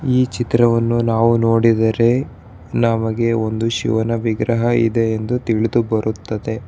ಈ ಚಿತ್ರವನ್ನು ನಾವು ನೋಡಿದರೆ ನಮಗೆ ಒಂದು ಶಿವನ ವಿಗ್ರಹ ಇದೆ ಎಂದು ತಿಳಿದು ಬರುತ್ತದೆ.